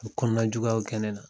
A bɛ kɔnɔnan juguyaw kɛ ne nan